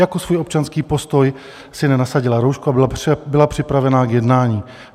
Jako svůj občanský postoj si nenasadila roušku a byla připravena k jednání.